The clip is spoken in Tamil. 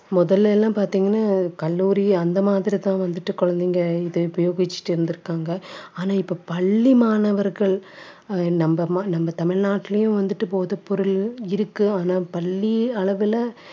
முதல்ல எல்லாம் பாத்தீங்கன்னா கல்லூரி அந்த மாதிரி தான் வந்துட்டு குழந்தைங்க இதை உபயோகிச்சுட்டு இருந்திருக்காங்க ஆனா இப்ப பள்ளி மாணவர்கள் நம்ம அம்மா நம்ம தமிழ்நாட்டிலயும் வந்துட்டு போதை பொருள் இருக்கு ஆனா பள்ளி அளவிலே